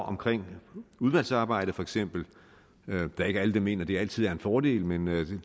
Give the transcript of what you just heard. omkring udvalgsarbejdet for eksempel det er ikke alle der mener at det altid en fordel men